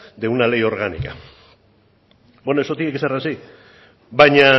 de una ley orgánica bueno eso tiene que ser así baina